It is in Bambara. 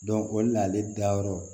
o de la ale dayɔrɔ